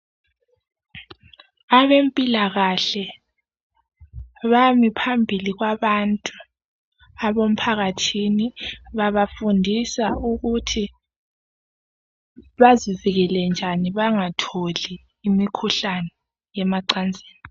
Abempilakahle bami phambili kwabantu emphakathini. Babafundisa ukuthi bazivikele njani bangatholi imikhuhlane yemacansini.